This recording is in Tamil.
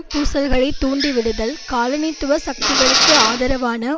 பூசல்களைத்தூண்டிவிடுதல் காலனித்துவ சக்திகளுக்கு ஆதரவான